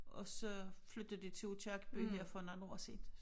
Og så flyttede de til Aakirkeby her for nogen år siden